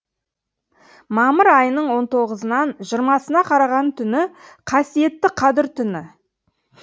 мамыр айының он тоғызынан жиырмасына қараған түні қасиетті қадір түні